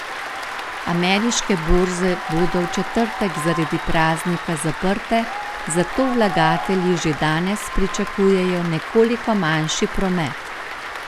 Ameriške borze bodo v četrtek zaradi praznika zaprte, zato vlagatelji že danes pričakujejo nekoliko manjši promet.